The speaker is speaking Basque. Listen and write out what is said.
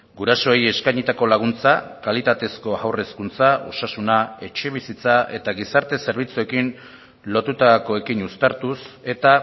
gurasoei eskainitako laguntza kalitatezko haur hezkuntza osasuna etxebizitza eta gizarte zerbitzuekin lotutakoekin uztartuz eta